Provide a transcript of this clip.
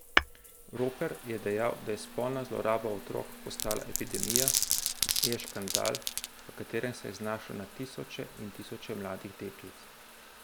Roper je dejal, da je spolna zloraba otrok postala epidemija, je škandal, v katerem se je znašlo na tisoče in tisoče mladih deklic.